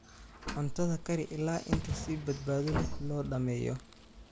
Cuntada kari ilaa inta si badbaado leh loo dhammeeyo.